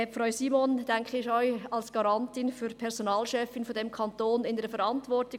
Frau Simon ist auch als Personalchefin dieses Kantons Garantin und steht in der Verantwortung.